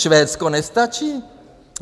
Švédsko nestačí?